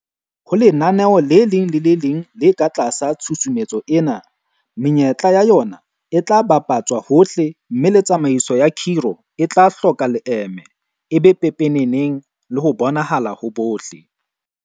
Ho lenaneo le leng le le leng le ka tlasa tshusumetso ena, menyetla ya ona e tla bapa tswa hohle mme le tsamaiso ya khiro e tla hloka leeme, e be pepeneneng le ho bonahala ho bohle.